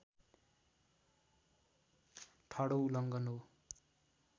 ठाडो उल्लङ्घन हो